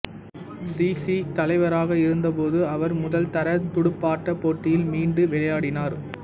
C C தலைவராக இருந்தபோது அவர் முதல் தர துடுப்பாட்டப் போட்டியில் மீண்டு விளையாடினார்